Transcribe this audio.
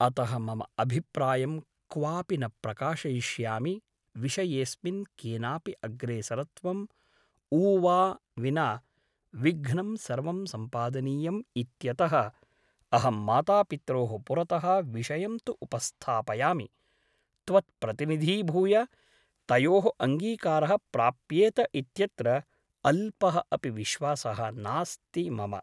अतः मम अभिप्रायं क्वापि न प्रकाशयिष्यामि विषयेऽस्मिन् केनापि अग्रेसरत्वम् ऊवा विना विघ्नं सर्वं सम्पादनीयम् इत्यतः अहं मातापित्रोः पुरतः विषयं तु उपस्थापयामि त्वत्प्रतिनिधीभूय तयोः अङ्गीकारः प्राप्येत इत्यत्र अल्पः अपि विश्वासः नास्ति मम ।